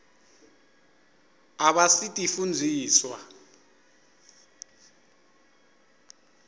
abasitifundziswa